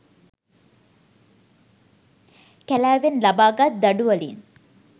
කැලෑවෙන් ලබාගත් දඩුවලින්